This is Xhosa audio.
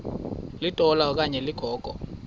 litola okanye ligogo